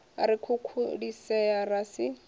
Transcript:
ri a khukhulisea ra si